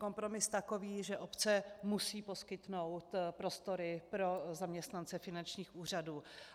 Kompromis takový, že obce musí poskytnout prostory pro zaměstnance finančních úřadů.